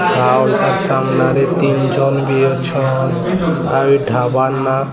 ସାମ୍ନା ରେ ତିନ ଜନ ବି ଅଛ ଆଉ ଏଇ ଢାବାରେ ନା -- ପି